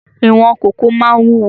Ìwọ̀n kòkó máa ń wúwo